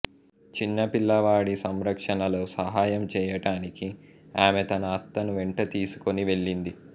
చిన్న పిల్లవాడి సంరక్షణలో సహాయం చేయటానికి ఆమె తన అత్తను వెంట తీసుకొని వెళ్ళింది